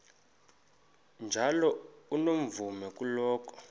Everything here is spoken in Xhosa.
njalo unomvume kuloko